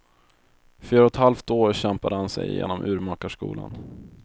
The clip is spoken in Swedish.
Fyra och ett halvt år kämpade han sig igenom urmakarskolan.